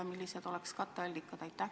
Ja millised oleks katteallikad?